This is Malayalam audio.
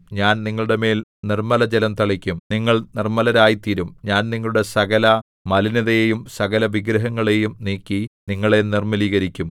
ഞാൻ നിങ്ങളുടെമേൽ നിർമ്മലജലം തളിക്കും നിങ്ങൾ നിർമ്മലരായി തീരും ഞാൻ നിങ്ങളുടെ സകലമലിനതയെയും സകലവിഗ്രഹങ്ങളെയും നീക്കി നിങ്ങളെ നിർമ്മലീകരിക്കും